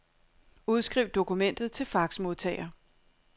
Udskriv dokumentet til faxmodtager.